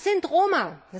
Das sind Roma.